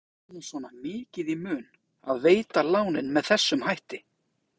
En af hverju var bankanum svona mikið í mun að veita lánin með þessum hætti?